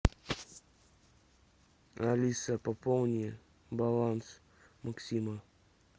алиса пополни баланс максима